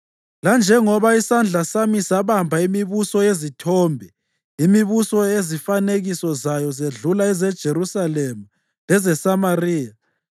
Lanjengoba isandla sami sabamba imibuso yezithombe, imibuso ezifanekiso zayo zedlula ezeJerusalema lezeSamariya,